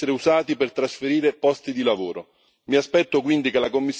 I fondi europei non possono essere usati per trasferire posti di lavoro.